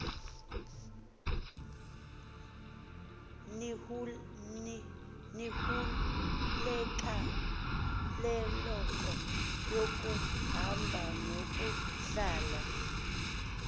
iniululeko yokuhamba nokuhlala